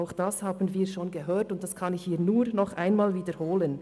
Auch das haben wir bereits gehört, und ich kann das nur noch einmal wiederholen: